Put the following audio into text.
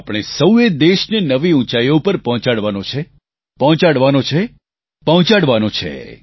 આપણે સૌ એ દેશને નવી ઉંચાઈઓ પર પહોંચાડવાનો છે પહોંચાડવાનો છે અને પહોંચાડવાનો છે